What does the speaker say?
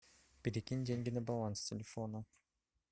перекинь деньги на баланс телефона